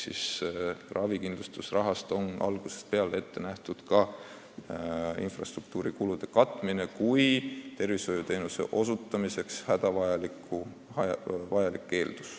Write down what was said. Ravikindlustusrahast on algusest peale ette nähtud ka infrastruktuuri kulude katmine kui arstiabi osutamise hädavajalik eeldus.